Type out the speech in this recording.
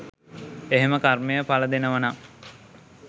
එහෙම කර්මය ඵල දෙනවනම්